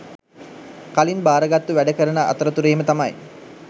කලින් භාරගත්තු වැඩ කරන අතරතුරේම තමයි